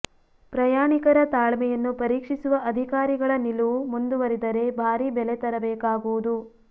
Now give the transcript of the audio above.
ಪ್ರಯಾಣಿಕರ ತಾಳ್ಮೆಯನ್ನು ಪರೀಕ್ಷಿಸುವ ಅಧಿಕಾರಿಗಳ ನಿಲುವು ಮುಂದುವರಿದರೆ ಭಾರೀ ಬೆಲೆ ತೆರಬೇಕಾಗುವುದು